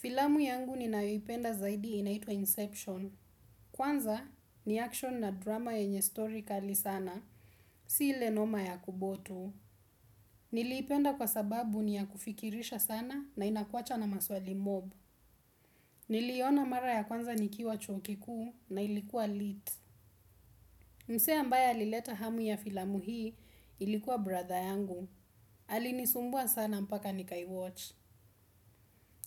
Filamu yangu ninayoipenda zaidi inaitwa inception. Kwanza ni action na drama yenye stori kali sana. Si ile noma ya kuboo tu. Niliipenda kwa sababu ni ya kufikirisha sana na inakuacha na maswali mob. Niliiona mara ya kwanza nikiwa chuo kikuu na ilikua lit. Msee ambaye alileta hamu ya filamu hii ilikuwa brother yangu. Alinisumbua sana mpaka nika i watch.